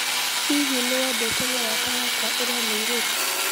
Olly, hihi nĩ wendete mũrata wakwa ũrĩa mũirĩtu